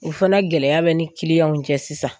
O fana gɛlɛya bɛ ni cɛ sisan.